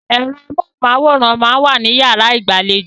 Ẹ̀rọ amóhùn-máwòrán máa ń wà ní yàrá ìgbàlejò.